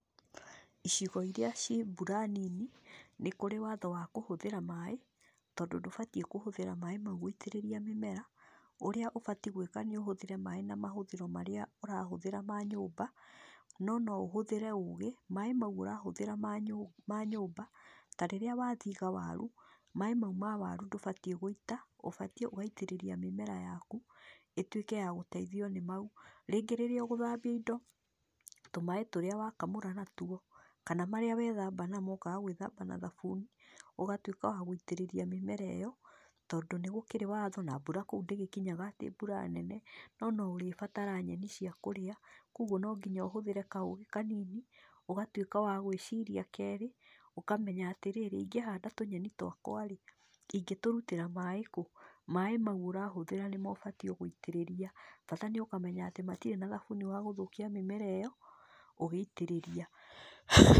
Icigo iria ciĩ mbura nini, nĩkũrĩ watho wa kũhũthĩra maaĩ, tondũ ndũbatiĩ kũhũthĩra maaĩ mau gũitĩrĩria mĩmera, ũrĩa ũbatiĩ gwĩka nĩũhũthĩre maaĩ na mahũthĩro marĩa ũrahũthĩra ma nyũmba, no noũhũthĩre ũgĩ, maaĩ mau ũrahũthĩra ma nyũmba, tarĩrĩa wathiga waru, maaĩ mau ma waru ndũbatiĩ gũita, ũbatiĩ ũgaitĩrĩria mĩmera yaku, ĩtuĩke yagũtaithio nĩmau. Rĩngĩ rĩrĩa ũgũthambia indo, tũmaaĩ tũrĩa wakamũra natuo, kana marĩa wethamba namo, ũkaga gwĩthamba na thabuni, ũgatuĩka wagũitĩrĩria mĩmera ĩyo, tondũ nĩgũkĩrĩ watho, na mbura kũu ndĩgĩkinyaga atĩ mbura nene, no noũrĩbatara nyeni ciakũrĩa, koguo nonginya ũhũthĩre kaũgĩ kanini, ũgatuĩka wagwĩciria kerĩ, ũkamenya atĩrĩrĩ, ingĩhanda tũnyeni twakwa rĩ, ingĩtũrutĩra maaĩ kũ. Maaĩ mau ũrahũthĩra nĩmo ũbatiĩ gũitĩrĩria, bata nĩũkamenya atĩ matirĩ na thabuni wa gũthũkia mĩmera ĩyo ũgĩitĩrĩria.